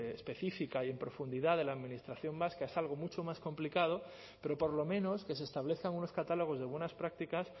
específica y en profundidad de la administración vasca es algo mucho más complicado pero por lo menos que se establezcan unos catálogos de buenas prácticas